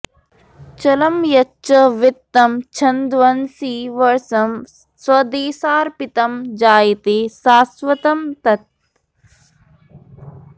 चलं यच्च वित्तं क्षणध्वंसि वर्ष्म स्वदेशार्पितं जायते शाश्वतं तत्